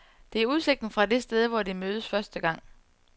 Det er udsigten fra det sted, hvor de mødtes første gang.